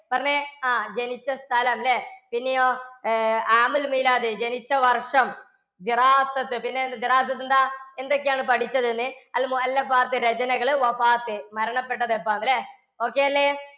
പറഞ്ഞേ, ആ ജനിച്ച സ്ഥലം അല്ലേ? പിന്നെയോ ജനിച്ചവർഷം പിന്നെ എന്താ എന്തൊക്കെയാണ് പഠിച്ചതെന്ന് രചനകൾ മരണപ്പെട്ടത് എപ്പോൾ അല്ലേ okay അല്ലേ